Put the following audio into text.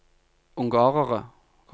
ungarere